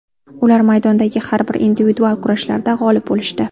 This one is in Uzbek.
Ular maydondagi har bir individual kurashlarda g‘olib bo‘lishdi.